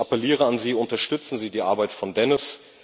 Ich appelliere an Sie Unterstützen Sie die Arbeit von Dennis.